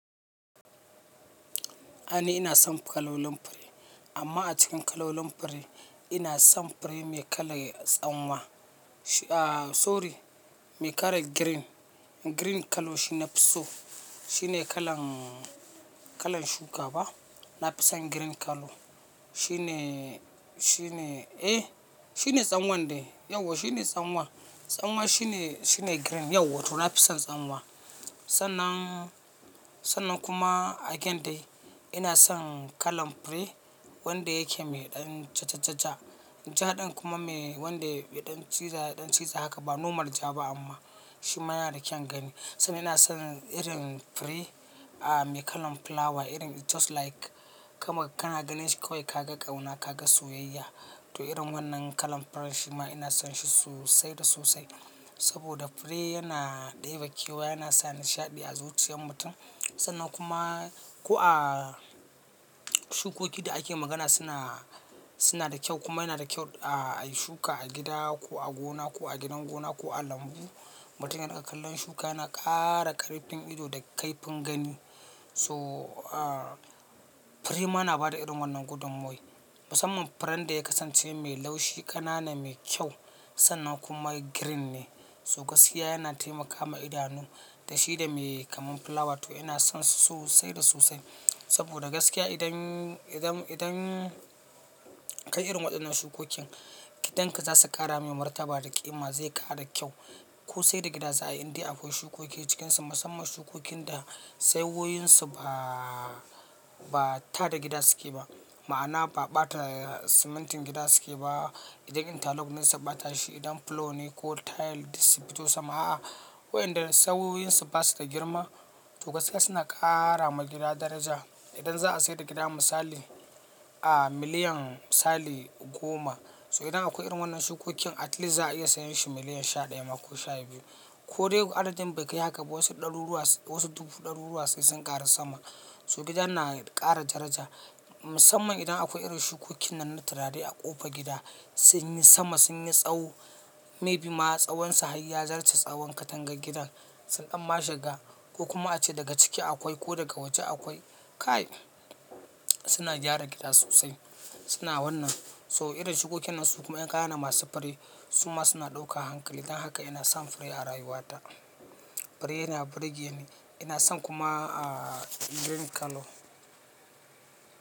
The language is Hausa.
Ni ina son kalolin fure amma a cikin kalolin fure ina son fure mai kalan tsanwa. A sorry, mai kalan green. Green kallo shine nafi so. Shine kalan, kalan shuka ba. Nafison green kallo. Shine, shine, eh shine tsanwan dai. Yauwa shine tsanwa. Tsanwa shine, shine green. Yauwa to nafison tsanwa. Sannan, sannan kuma again dai ina son kalan fure wanda yake mai ɗan ja ja ja ja. Ja ɗin kuma mai wanda yaɗan ciza ɗan ciza haka ba nomar ja ba amma shi ma yana da kyan gani. Sannan ina son irin fure, a, mai kalan fulawa irin just like ka ma kana ganin shi kawai ka ga ƙauna, ka ga soyayya. To irin wannan kalan furen shi ma ina son shi sosai da sosai. Saboda fure yana ɗebe kewaye yana sa nishaɗi a zuciyar mutum. Sannan kuma ko a shukoki da ake magana suna, suna da kyau kuma yana da kyau a shuka a gida ko a gona ko a gidan gona ko a lambu. Mutumin da aka kallon shuka yana ƙara kariftin ido da kaifin gani. So a, fure ma na bada irin wannan gudunmuwai. Musamman furen da ya kasance mai laushi, ƙanana, mai kyau sannan kuma green ne. So gaskiya yana taimakawa idanu da shi da mai kamar fulawa to ina son su sosai da sosai. Saboda gaskiya idan, idan, idan kayi irin waɗannan shukokin gidanka za su ƙara mai martaba da ƙima zai ƙara kyau. Ko sai da gida za a yi dai akwai shukoki a cikinsa musamman shukokin da tsawoyansu ba, ba ta da gida suke ba. Ma'ana ba ɓata simintin gida suke ba. Idan intarlok nesa ɓata shi idan fulo ne ko tile dibi to sama a. Waɗanda tsawoyansu ba su da girma to gaskiya suna ƙara ma gida daraja. Idan za a sayar da gida misali, a miliyan misali goma so idan akwai irin wannan shukokin at least za a iya sayar shi miliyan sha ɗaya ma ko sha biyu. Ko dai adadin bai kai haka ba wasu ɗaru ruwa, wasu ɗubu ɗaru ruwai sai sun ƙara sama. So gidan na ƙara daraja. Musamman idan akwai irin shukokin nan na turare a ƙofar gida sun yi sama sun yi tsawo maybe ma tsawonsa har ya zarce tsawon katangar gidan. Sun ɗan mashiga ko kuma a ce daga ciki akwai ko daga waje akwai ƙaya. Suna gyara gida sosai. Suna wannan. So irin shukokin nan su kuma ƴaƴanana masu fure su ma suna ɗauka hankali dan haka ina son fure a rayuwata. Fure yana burge ni. Ina son kuma a green kallo.